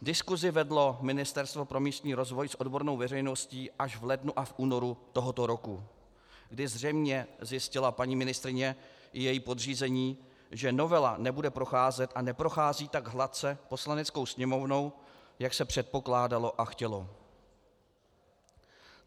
Diskusi vedlo Ministerstvo pro místní rozvoj s odbornou veřejností až v lednu a únoru tohoto roku, kdy zřejmě zjistila paní ministryně i její podřízení, že novela nebude procházet a neprochází tak hladce Poslaneckou sněmovnou, jak se předpokládalo a chtělo.